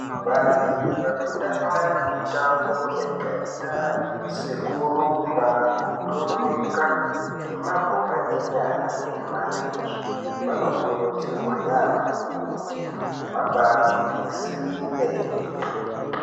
Vantu vanotamba mitambo yakaita sekurumba, kutomuka nemabhora enyara nemarenje vanokurudzirwa yamho kuti vaba gwinyisire.